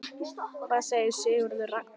Hvað segir Sigurður Ragnar?